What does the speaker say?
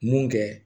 Mun kɛ